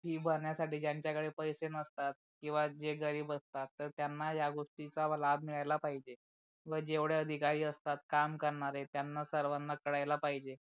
Fee भरण्यासाठी ज्यांच्या कडे पैसे नसतात किवा जे गरीब असतात तर त्यांना गोष्टीचा लाभ मिळायला पाहिजे, व जेवडे अधिकारी असतात काम करणारे त्यांना सर्वाना कळायला पाहिजे.